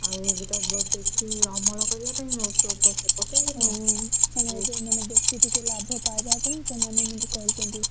ଆଉ ଏବେତ ବ ବେଶୀ ଅମଳ କରିବା ପାଇଁ